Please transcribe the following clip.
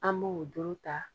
An b'o doro ta.